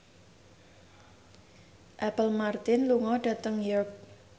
Apple Martin lunga dhateng York